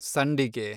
ಸಂಡಿಗೆ